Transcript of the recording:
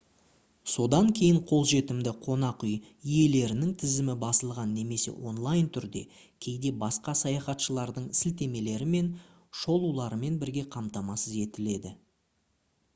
содан кейін қолжетімді қонақүй иелерінің тізімі басылған немесе онлайн түрде кейде басқа саяхатшылардың сілтемелері мен шолуларымен бірге қамтамасыз етіледі